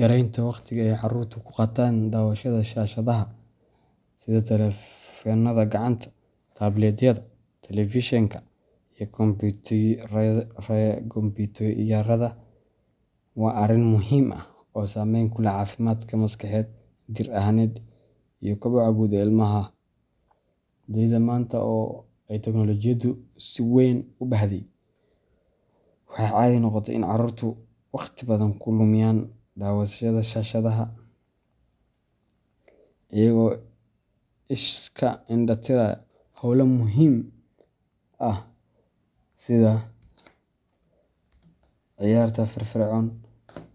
Yaraynta waqtiga ay carruurtu ku qaataan daawashada shaashadaha sida taleefannada gacanta, tabletyada, telefishanka iyo kombiyuutarada waa arrin muhiim ah oo saameyn ku leh caafimaadka maskaxeed, jir ahaaneed iyo koboca guud ee ilmaha. Dunida maanta oo ay teknoolojiyaddu si weyn u baahday, waxaa caadi noqotay in carruurtu waqti badan ku lumiyaan daawashada shaashadaha iyaga oo iska indha tiraya hawlo muhiim ah sida ciyaarta firfircoon,